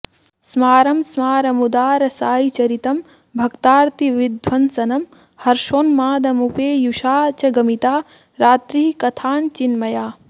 स्मारं स्मारमुदारसायिचरितं भक्तार्तिविध्वंसनं हर्षोन्मादमुपेयुषा च गमिता रात्रिः कथाञ्चिन्मया